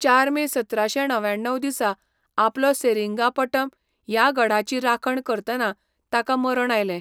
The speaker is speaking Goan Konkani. चार मे सतराशें णव्याण्णव दिसा आपलो सेरिंगापटम ह्या गढाची राखण करतना ताका मरण आयलें.